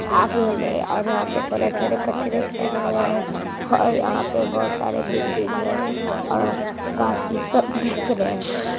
आगे में और यहाँ पे थोड़े-थोड़े कचरे फैले हुए हैं और यहाँ पे बहुत सारे बिल्डिंग हैं और बाकी सब दिख रहें हैं।